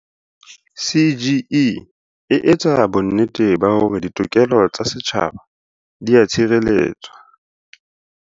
CGE e etsa bonnete ba hore ditokelo tsa setjhaba di a tshireletswa.